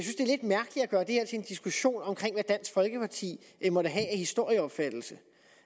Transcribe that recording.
gøre det her til en diskussion om hvad dansk folkeparti måtte have af historieopfattelse